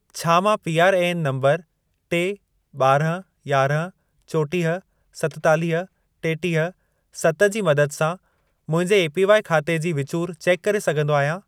छा मां PRAN number टे, ॿारहं, यारहं, चोटीह, सतेतालीह, टेटीह, सत जी मदद सां मुंहिंजे एपीवाई ख़ाते जी विचूर चेक करे सघंदो आहियां?